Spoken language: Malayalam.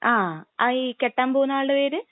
ങാ..ഈ കെട്ടാൻ പോകുന്ന ആൾടെ പേര്?